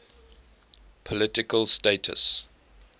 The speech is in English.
political status